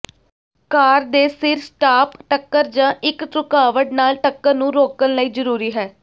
ਕਾਰ ਦੇ ਸਿਰ ਸਟਾਪ ਟੱਕਰ ਜ ਇੱਕ ਰੁਕਾਵਟ ਨਾਲ ਟੱਕਰ ਨੂੰ ਰੋਕਣ ਲਈ ਜ਼ਰੂਰੀ ਹੈ